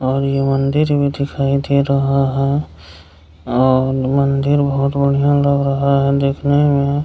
और ये मंदिर भी दिखाई दे रहा है और मंदिर बहुत बढ़िया लग रहा है देखने में --